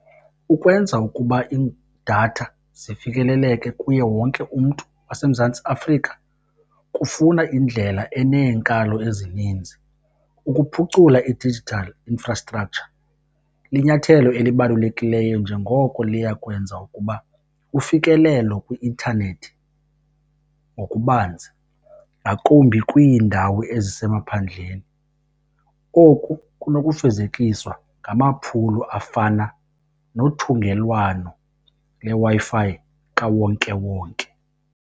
Ukwenza ukuba iidatha zifikeleleke kuye wonke umntu waseMzantsi Afrika kufuna indlela eneenkalo ezininzi. Ukuphucula i-digital infrastructure linyathelo elibalukelileyo njengoko liya kwenza ukuba ufikelelo kwi-intanethi ngokubanzi ngakumbi kwiindawo ezisemaphandleni. Oku kunokufezekiswa ngamaphulo afana nothungelwano leWi-Fi kawonkewonke.